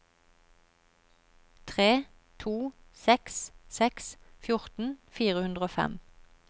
tre to seks seks fjorten fire hundre og fem